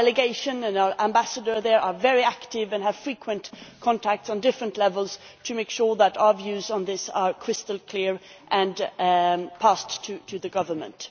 Our delegation and our ambassador there are very active and have frequent contact at different levels to make sure that our views on this are crystal clear and passed on to the government.